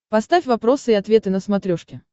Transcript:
поставь вопросы и ответы на смотрешке